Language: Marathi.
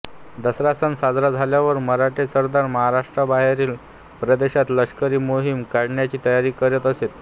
दसरा सण साजरा झाल्यावर मराठे सरदार महाराष्ट्राबाहेरील प्रदेशात लष्करी मोहिमा काढण्याची तयारी करीत असत